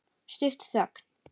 Stutt þögn.